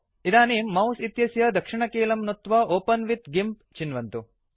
इदानीम् मौस् इत्यस्य दक्षिणकीलं नुत्वा ओपेन विथ गिम्प चिन्वन्तु